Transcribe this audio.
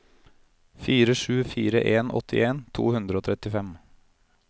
fire sju fire en åttien to hundre og trettifem